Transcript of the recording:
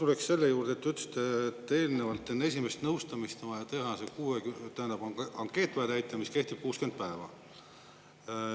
Ma tuleksin selle juurde, et te ütlesite, et eelnevalt, enne esimest nõustamist on vaja teha, see tähendab, on ankeet vaja täita, mis kehtib 60 päeva.